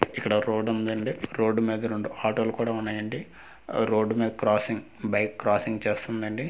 ఇక్కడ రోడ్ ఉందండి రోడు మీద రెండు ఆటోలు కూడ ఉన్నాయండి రోడ్ మీద క్రస్సింగ్ బైక్ క్రస్సింగ్ చేస్తుందండి రో--